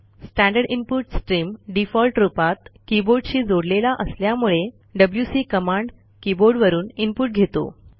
standard input stream default रूपात कीबोर्डशी जोडलेला असल्यामुळे डब्ल्यूसी कमांड कीबोर्डवरून इनपुट घेतो